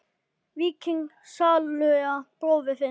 Víking sáluga bróður þinn?